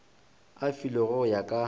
e filwego go ya ka